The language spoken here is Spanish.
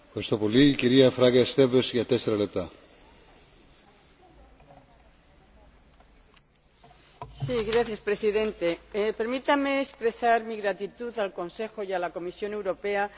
Señor Presidente, permítanme expresar mi gratitud al Consejo y a la Comisión Europea por llegar a este buen acuerdo en primera lectura y, muy en particular, a los servicios jurídicos de las tres instituciones